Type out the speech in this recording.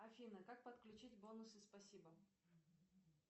афина как подключить бонусы спасибо